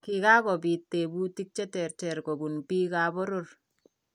Kikakobit tebutik cheterter kobun bikap boror